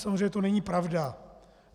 Samozřejmě to není pravda.